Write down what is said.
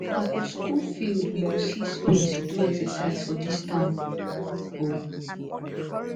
na for skool field you go see space do exercise for dis town o